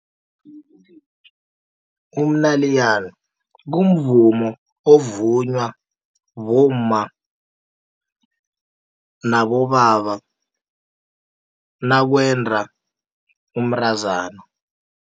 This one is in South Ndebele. Umnayilana kumvumo ovunywa bomma nabobaba, nakwenda umntazana.